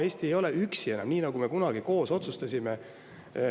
Eesti ei ole enam üksi, nii nagu me kunagi koos otsustasime.